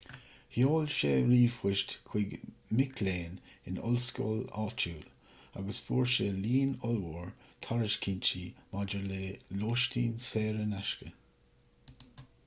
sheol sé ríomhphoist chuig mic léinn in ollscoil áitiúil agus fuair sé líon ollmhór tairiscintí maidir le lóistín saor in aisce